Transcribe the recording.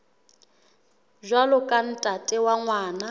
jwalo ka ntate wa ngwana